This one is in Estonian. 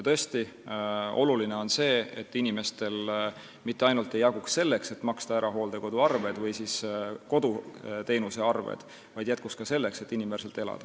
Tõesti on oluline, et inimestel jaguks raha mitte ainult selleks, et maksta ära hooldekoduarved või koduteenusearved, vaid raha jätkuks ka selleks, et inimväärselt elada.